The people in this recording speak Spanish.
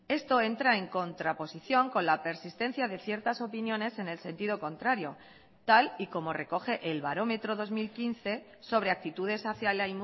esto entra en contraposición con la persistencia de ciertas opiniones en el sentido contrario tal y como recoge el barómetro dos mil quince sobre actitudes hacia la